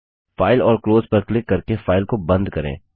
file और close पर click करके फाइल को बंद करें